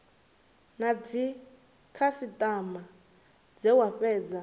na dzikhasitama dze dza fhedza